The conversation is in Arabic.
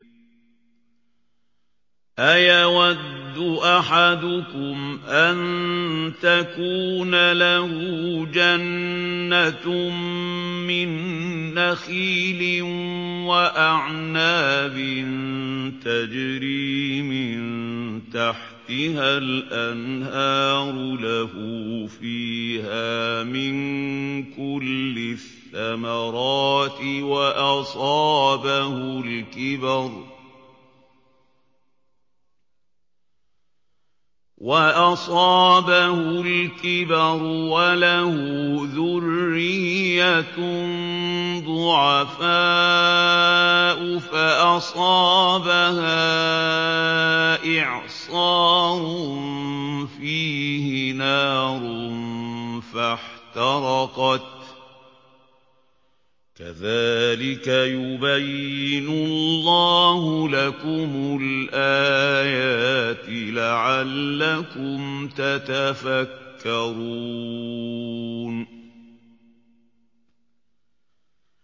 أَيَوَدُّ أَحَدُكُمْ أَن تَكُونَ لَهُ جَنَّةٌ مِّن نَّخِيلٍ وَأَعْنَابٍ تَجْرِي مِن تَحْتِهَا الْأَنْهَارُ لَهُ فِيهَا مِن كُلِّ الثَّمَرَاتِ وَأَصَابَهُ الْكِبَرُ وَلَهُ ذُرِّيَّةٌ ضُعَفَاءُ فَأَصَابَهَا إِعْصَارٌ فِيهِ نَارٌ فَاحْتَرَقَتْ ۗ كَذَٰلِكَ يُبَيِّنُ اللَّهُ لَكُمُ الْآيَاتِ لَعَلَّكُمْ تَتَفَكَّرُونَ